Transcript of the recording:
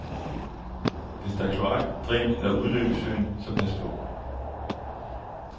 Hvis der er kloak, dræn eller udløb i søen så pas på.